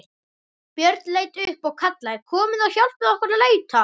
Björn leit upp og kallaði: Komiði og hjálpið okkur að leita!